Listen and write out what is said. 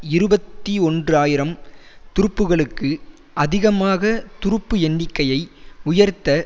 இருபத்தி ஒன்று ஆயிரம் துருப்புக்களுக்கு அதிகமாக துருப்பு எண்ணிக்கையை உயர்த்த